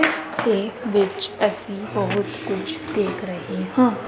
ਇਸ ਦੇ ਵਿੱਚ ਅਸੀਂ ਬਹੁਤ ਕੁਝ ਦੇਖ ਰਹੇ ਹਾਂ।